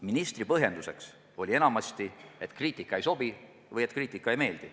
Ministri põhjenduseks oli enamasti, et kriitika ei sobi või et kriitika ei meeldi.